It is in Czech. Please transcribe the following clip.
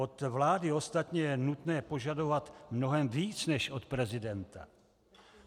Od vlády ostatně je nutné požadovat mnohem víc než od prezidenta.